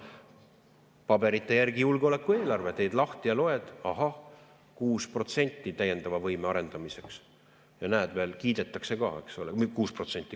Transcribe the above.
Paberite järgi julgeoleku eelarve, teed lahti, loed, ahah, 6 miljonit täiendava võime arendamiseks ja näed, veel kiidetakse ka.